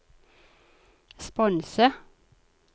sponse